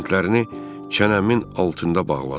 Lentlərini çənəmin altında bağladım.